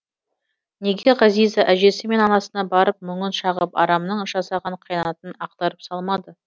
неге ғазиза әжесі мен анасына барып мұңын шағып арамның жасаған қиянатын ақтарып салмады